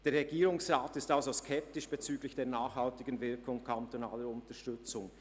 Der Regierungsrat ist also skeptisch bezüglich der nachhaltigen Wirkung kantonaler Unterstützung.